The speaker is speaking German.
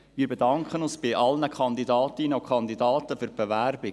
Wir bedanken uns bei allen Kandidatinnen und Kandidaten für die Bewerbung.